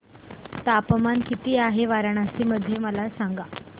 तापमान किती आहे वाराणसी मध्ये मला सांगा